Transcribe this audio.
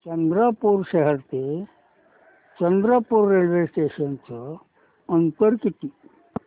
चंद्रपूर शहर ते चंद्रपुर रेल्वे स्टेशनचं अंतर किती